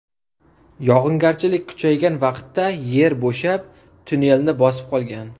Yog‘ingarchilik kuchaygan vaqtda yer bo‘shab, tunnelni bosib qolgan.